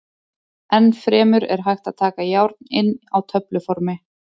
Enn fremur er hægt að taka járn inn á töfluformi.